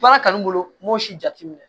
Baara kanu bolo n b'o si jateminɛ